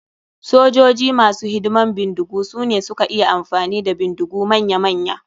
Sojoji masu hidiman bindigu sune suka iya amfani da bindigu manya manya.